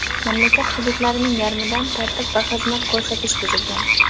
mamlakat hududlarining yarmida tartib va xizmat ko‘rsatish buzilgan.